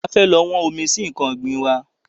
A fẹ́ lọ wọ́n omi sí nkan ọ̀gbìn wa